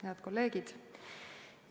Head kolleegid!